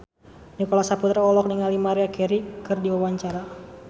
Nicholas Saputra olohok ningali Maria Carey keur diwawancara